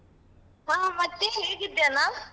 ಹ ಮತ್ತೆ ಹೇಗಿದ್ಯಾನಾ?